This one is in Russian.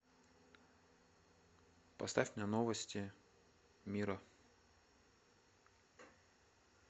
поставь мне новости мира